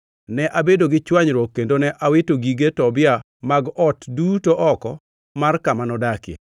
Ne abedo gi chwanyruok kendo ne awito gige Tobia mag ot duto oko mar kama nodakie.